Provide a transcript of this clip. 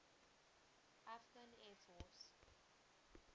afghan air force